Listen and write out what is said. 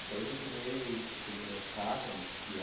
Então eu continuei com por intermédio de carta, não existia